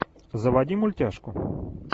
заводи мультяшку